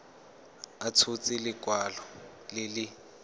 a tshotse lekwalo le le